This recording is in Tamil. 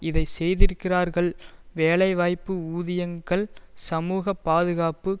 இதை செய்திருக்கிறார்கள் வேலை வாய்ப்பு ஊதியங்கள் சமூக பாதுகாப்பு